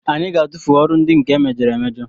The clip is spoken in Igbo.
Anyị ga-atụfu ọrụ ndị nke emejọrọ emejọ